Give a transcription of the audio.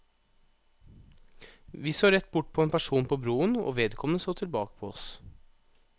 Vi så rett bort på en person på broen, og vedkommende så tilbake på oss.